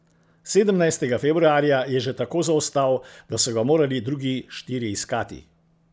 Sedemnajstega februarja je že tako zaostal, da so ga morali drugi štirje iskati.